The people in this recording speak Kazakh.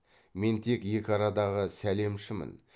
мен тек екі арадағы сәлемшімін